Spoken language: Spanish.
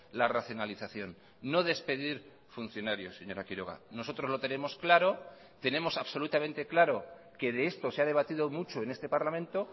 la racionalización no despedir funcionarios señora quiroga nosotros lo tenemos claro tenemos absolutamente claro que de esto se ha debatido mucho en este parlamento